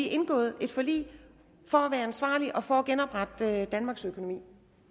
indgået et forlig for at være ansvarlige og for at genoprette danmarks økonomi